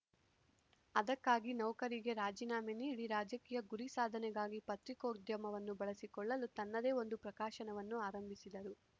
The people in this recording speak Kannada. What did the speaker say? ಅದಕ್ಕಾಗಿ ನೌಕರಿಗೆ ರಾಜೀನಾಮೆ ನೀಡಿ ರಾಜಕೀಯ ಗುರಿ ಸಾಧನೆಗಾಗಿ ಪತ್ರಿಕೋದ್ಯಮವನ್ನು ಬಳಸಿಕೊಳ್ಳಲು ತನ್ನದೇ ಒಂದು ಪ್ರಕಾಶನವನ್ನು ಆರಂಭಿಸಿದರು